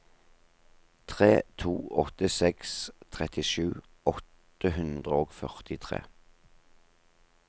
tre to åtte seks trettisju åtte hundre og førtitre